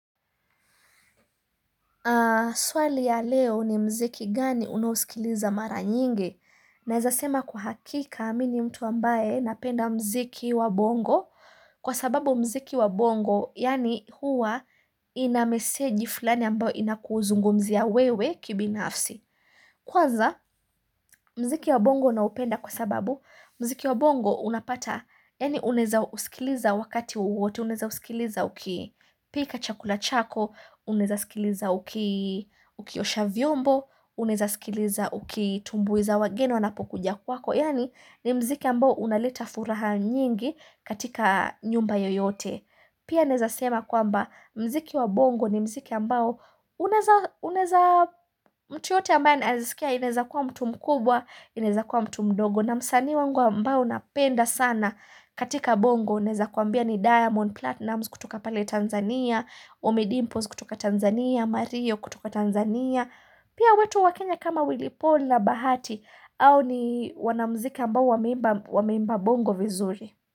Haa, swali ya leo ni mziki gani unaosikiliza mara nyingi, nawezasema kwa hakika mimi ni mtu ambaye napenda mziki wa bongo, kwa sababu mziki wa bongo, yani huwa inamesegi fulani ambayo inakuzungumzia wewe kibinafsi. Kwanza mziki wa bongo na upenda kwa sababu mziki wa bongo unapata yani unaweza usikiliza wakati wowote unaweza usikiliza uki pika chakula chako unaweza usikiliza uki osha vyombo unaweza usikiliza ukitumbuiza wageni wanapokuja kwako yaani ni mziki ambao unaleta furaha nyingi katika nyumba yoyote Pia naweza sema kwamba mziki wa bongo ni mziki ambao unaweza mtu yeyote ambaye anaweza sikia inawwza kuwa mtu mkubwa, inaweza kuwa mtu mdogo. Na msanii wangu ambao nampenda sana katika bongo naweza kuambia ni diamond, platinum kutoka pali Tanzania, omidimpos kutoka Tanzania, mario kutoka Tanzania. Pia wetu wakenya kama wily paul na bahati hao ni wanamziki ambao wameimba bongo vizuri.